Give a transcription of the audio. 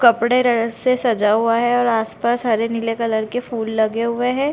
कपड़े से सजा हुआ है और आस-पास हरे-नीले कलर के फूल लगे हुए है।